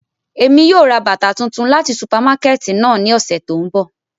Emi yóò ra bata tuntun lati supamakẹti náa ni ọsẹ to nbọ.